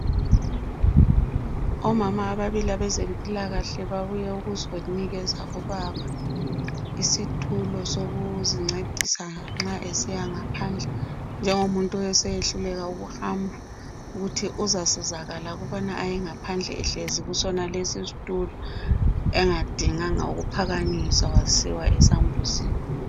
Omama ababili abezempilakahle babuye ukuzonikeza ubaba isitulo sokuzincedisa nxa esiya ngaphandle, njengomuntu oseyehluleka ukuhamba. Ukuthi uzasizakala ukubana ayengaphandle ehlezi kusonalesi isitulo, engadinganga ukuphakanyiswa wasiwa esambuzini.